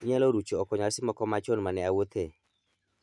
Inyalo rucho oko nyasi moko machon mane awuothe